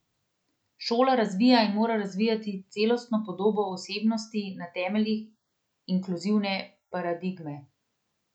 Šola razvija in mora razvijati celostno podobo osebnosti na temeljih inkluzivne paradigme.